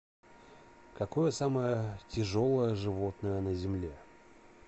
какое самое тяжелое животное на земле